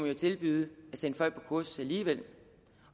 jo tilbyde at sende folk på kursus alligevel